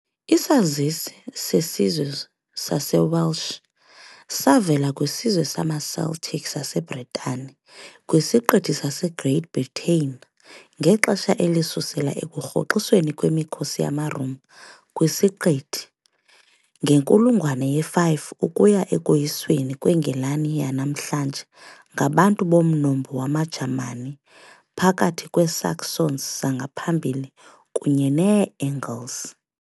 Isazisi sesizwe saseWelsh savela kwisizwe samaCeltic saseBritane kwisiqithi saseGreat Britain ngexesha elisusela ekurhoxisweni kwemikhosi yamaRoma kwisiqithi ngenkulungwane ye-5 ukuya ekoyisweni kweNgilani yanamhlanje ngabantu bomnombo wamaJamani phakathi kweeSaxons zangaphambili kunye neeAngles .